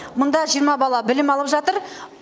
мұнда жиырма бала білім алып жатыр